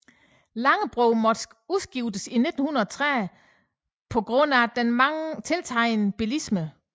Langebro måtte udskiftes i 1930 på grund af den tiltagende bilisme